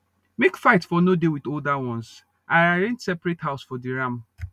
make fight for nor dey with older ones i arrange separate house for the ram